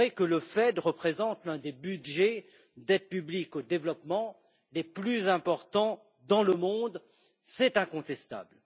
Le FED représente l'un des budgets d'aide publique au développement les plus importants dans le monde, c'est incontestable.